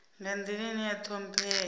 nga nḓila ine ya ṱhomphea